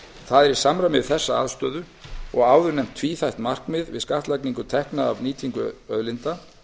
það er í samræmi við þessa afstöðu og áðurnefnt tvíþætt markmið við skattlagningu tekna af nýtingu auðlinda